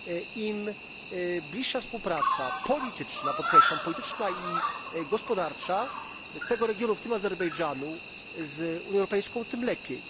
Im bliższa współpraca polityczna podkreślam polityczna i gospodarcza tego regionu, w tym Azerbejdżanu, z Unią Europejska, tym lepiej.